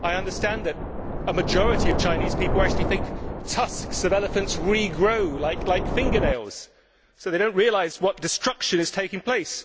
I understand that a majority of Chinese people actually think that the tusks of elephants re grow, like fingernails, so they don't realise what destruction is taking place.